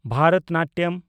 Bharatanatyam